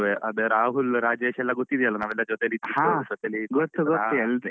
ಅದೇರಾಹುಲ್ ರಾಜೇಶ್ ಎಲ್ಲ ಗೊತ್ತಿದ್ಯಲ್ಲ ನಾವೆಲ್ಲಾ ಜೊತೆಲಿದ್ದಿದ್ದು. ಜೊತೇಲಿದ್ದು ಕೊಂಡು.